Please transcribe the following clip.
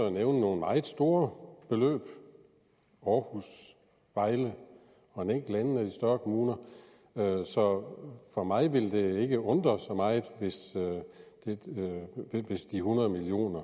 at nævne nogle meget store beløb aarhus vejle og en enkelt anden af de større kommuner så mig ville det ikke undre så meget hvis hundrede million